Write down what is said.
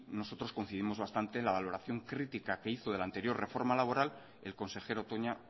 nosotros coincidimos bastante en la valoración crítica que hizo de la anterior reforma laboral el consejero toña